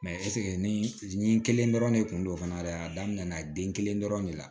ɛsike nin kelen dɔrɔn ne kun don fana dɛ a daminɛna den kelen dɔrɔn de la